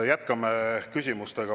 Jätkame küsimustega.